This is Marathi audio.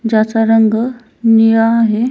ज्याचा रंग निळा आहे.